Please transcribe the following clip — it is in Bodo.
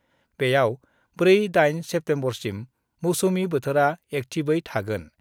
बेयाव 4-8 सेप्तेम्बरसिम मौसुमि बोथोरा एक्टिभयै थागोन।